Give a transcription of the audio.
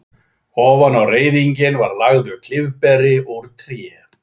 Ofan á reiðinginn var lagður klyfberi úr tré.